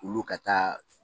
Olu ka taa